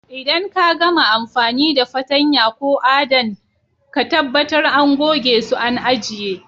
Idan ka gama amfani da fatanya ko à'dan, ka tabatar àn goge su àn ajie.